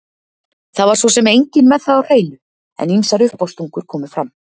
Það var svo sem enginn með það á hreinu, en ýmsar uppástungur komu fram